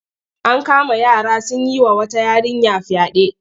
An kama yara sun yi wa wata yarinya fyaɗe.